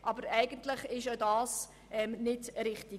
Aber eigentlich ist auch das nicht richtig.